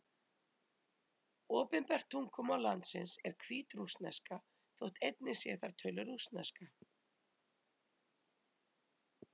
Opinbert tungumál landsins er hvítrússneska, þótt einnig sé þar töluð rússneska.